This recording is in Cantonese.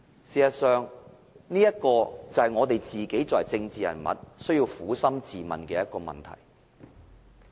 事實上，這就是我們政治人物需要撫心自問的問題。